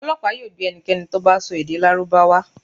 Ọlọpa yoo gbe ẹnikẹni to bá sọ èdè lárúbáwá